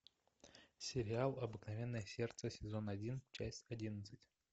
сериал обыкновенное сердце сезон один часть одиннадцать